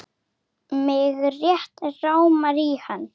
Mig rétt rámar í hann.